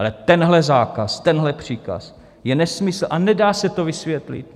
Ale tenhle zákaz, tenhle příkaz je nesmysl a nedá se to vysvětlit.